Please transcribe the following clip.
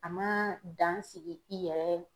A ma dan sigi i yɛrɛ